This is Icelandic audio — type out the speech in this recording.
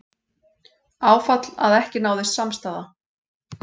Áfall að ekki náðist samstaða